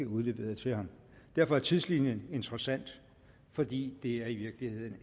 udleveret til ham derfor er tidslinjen interessant fordi det i virkeligheden